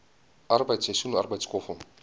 arbeid seisoensarbeid skoffel